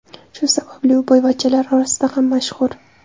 Shu sababli u boyvachchalar orasida ham mashhur.